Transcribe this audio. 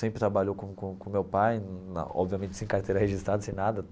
Sempre trabalhou com com com meu pai, obviamente sem carteira registrada, sem nada.